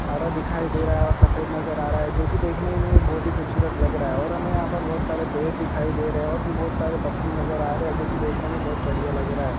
हरा दिखाई दे रहा है और सफेद नजर आ रहा है जो की देखने में ही बहुत ही खूबसूरत लग रहा है और हमें यहा पर बहुत सारे पेड़ दिखाई दे रहे है और भी बहुत सारे पक्षी नजर आ रहे है जो की देखने में बहुत बढ़िया लग रहा है।